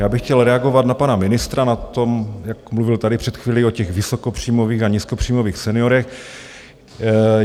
Já bych chtěl reagovat na pana ministra, na to, jak mluvil tady před chvílí o těch vysokopříjmových a nízkopříjmových seniorech.